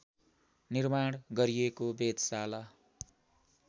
निर्माण गरिएको वेधशाला